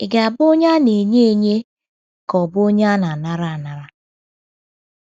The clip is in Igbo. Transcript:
“ Ị̀ Ga - abụ Onye Na - enye Enye Ka Ọ Bụ Onye Na - anara Anara? ”